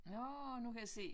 Nå nu kan jeg se